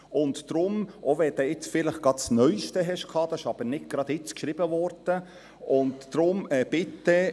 Deswegen, auch wenn Sie gerade das neuste hatten, so wurde dieses nicht gerade jetzt geschrieben, und deshalb bitte: